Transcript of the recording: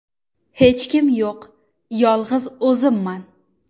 Hech kim yo‘q, yolg‘iz o‘zimman.